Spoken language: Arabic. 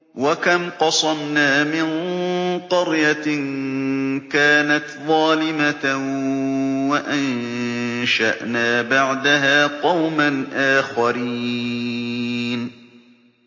وَكَمْ قَصَمْنَا مِن قَرْيَةٍ كَانَتْ ظَالِمَةً وَأَنشَأْنَا بَعْدَهَا قَوْمًا آخَرِينَ